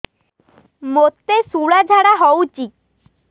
ମୋତେ ଶୂଳା ଝାଡ଼ା ହଉଚି